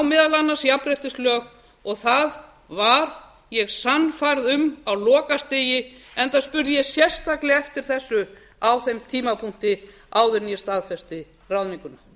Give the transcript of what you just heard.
meðal annars jafnréttislög og það var ég sannfærð um á lokastigi enda spurði ég sérstaklega eftir þessu á þeim tímapunkti áður en ég staðfesti ráðninguna